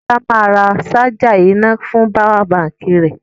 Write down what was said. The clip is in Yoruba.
Kọ́lá máa ra ṣájà iná fún páwà baǹkì rẹ.